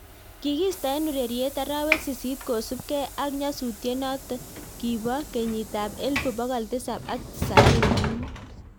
Kikiista eng urereiet arawek sisit kosup ge ak nyasutiet not kibo kenyit ab elbu pokol tisab ak tisaini ak mut